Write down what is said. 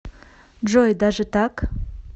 джой даже так